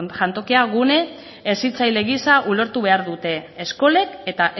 jantokia gune hezitzaile gisa ulertu behar dute eskolek eta